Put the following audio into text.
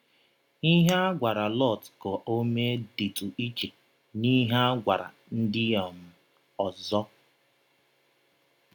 Ihe a gwara Lọt ka o mee dịtụ iche n’ihe a gwara ndị um ọzọ.